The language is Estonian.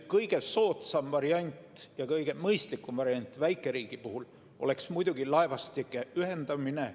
Kõige soodsam ja kõige mõistlikum variant väikeriigi puhul oleks muidugi laevastike ühendamine.